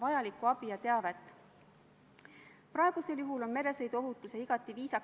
Austatud ettekandja, teile rohkem küsimusi ei ole.